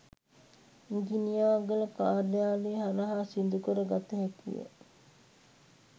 ඉඟිණියාගල කාර්යාලය හරහා සිදු කර ගත හැකිය.